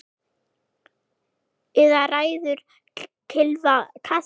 Eða ræður kylfa kasti?